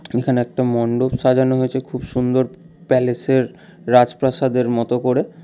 এখানে একটা মণ্ডপ সাজানো হয়েছে খুব সুন্দর প্যালেসের রাজপ্রাসাদের মতো করে।